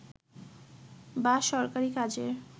বা সরকারি কাজের